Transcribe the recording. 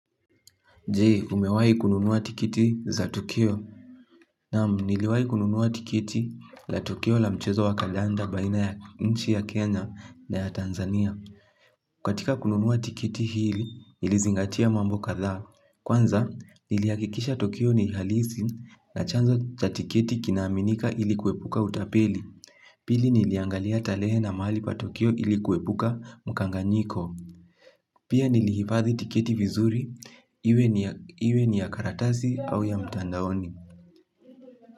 Jee, umewai kununua tikiti za Tukio. Nam, niliwai kununua tikiti la tukio la mchezo wa kandanda baina ya nchi ya Kenya na ya Tanzania. Katika kununua tikiti hili, nilizingatia mambo katha. Kwanza, niliyakikisha tukio ni halisi na chanzo za tikiti kinaminika ilikuepuka utapeli. Pili niliangalia tarehe na mahali pa tukio ili kuepuka mkanganyiko. Pia nilihifadhi tikiti vizuri, iwe ni ya karatasi au ya mtandaoni.